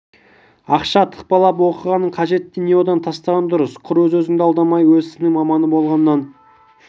ақша тықпалап оқығанның қажеті не одан да тастаған дұрыс құр өз-өзіңді алдамай өз ісіңнің маманы болғаннан